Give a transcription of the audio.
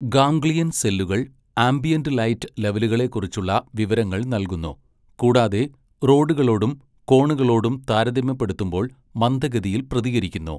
Ganglion സെല്ലുകൾ ambient light ലെവലുകളെക്കുറിച്ചുള്ള വിവരങ്ങൾ നൽകുന്നു, കൂടാതെ റോഡുകളോടും കോണുകളോടും താരതമ്യപ്പെടുത്തുമ്പോൾ മന്ദഗതിയിൽ പ്രതികരിക്കുന്നു.